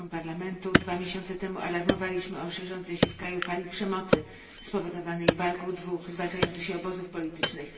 Na forum Parlamentu dwa miesiące temu alarmowaliśmy o szerzącej się w tym kraju fali przemocy spowodowanej walką dwóch zwalczających się obozów politycznych.